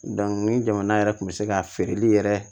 ni jamana yɛrɛ kun bɛ se ka feereli yɛrɛ